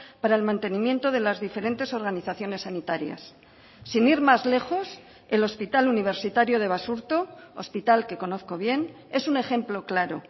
para el mantenimiento de las diferentes organizaciones sanitarias sin ir más lejos el hospital universitario de basurto hospital que conozco bien es un ejemplo claro